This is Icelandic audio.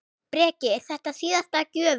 Breki: Er þetta síðasta gjöfin?